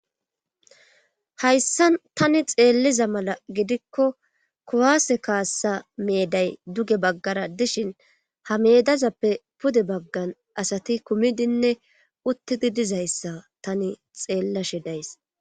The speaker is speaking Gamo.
Hayssa tani xeelliza mala gidikko kuwaase kaassa meeday duge baggara dishin ha medazappe pude baggan asati kumidinne uttidi dizayssa tani xeellashe days